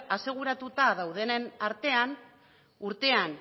aseguratuta dauden artean urtean